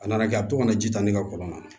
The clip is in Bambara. A nana kɛ a bɛ to ka na ji ta ne ka kɔlɔn na